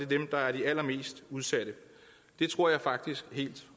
dem der er de allermest udsatte det tror jeg faktisk helt